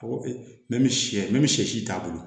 Ko sɛ si t'a bolo